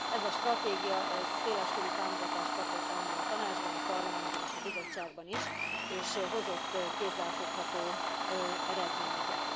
Ez a stratégia széleskörű támogatást kapott anno a Tanácsban, a Parlamentben és a Bizottságban is, és hozott kézzel fogható eredményeket.